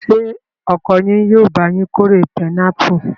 Ṣé ọkọ yín yóò bá yín kórè pinápù?